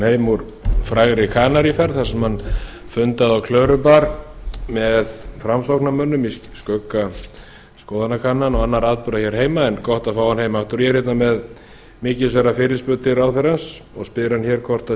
heim úr frægri kanaríferð þar sem hann fundaði á klörubar með framsóknarmönnum í skugga skoðanakannana og annarra atburða hér heima en gott að fá hann heim aftur ég er með mikilsverða fyrirspurn til ráðherrans og spyr hann hvort unnið